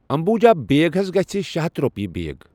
امبوٗجا بیگ حض گژھِ شےٚ ہَتھ روٚپیہِ بیگ۔